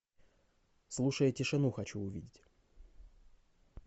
слушая тишину хочу увидеть